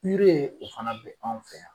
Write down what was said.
o fana bɛ anw fɛ yan.